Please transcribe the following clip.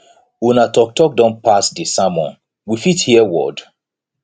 una talk talk don pass dey sermon we fit hear word